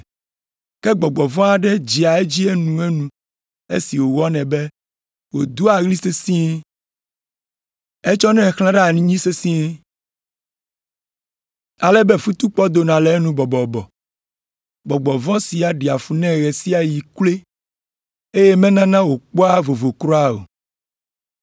Ke gbɔgbɔ vɔ̃ aɖe dzea edzi enuenu esi wɔnɛ be wòdoa ɣli sesĩe. Etsɔnɛ xlãna ɖe anyi sesĩe, ale be futukpɔ dona le enu bɔbɔbɔ. Gbɔgbɔ vɔ̃ sia ɖea fu nɛ ɣe sia ɣi kloe, eye menana wòkpɔa vovo kura o.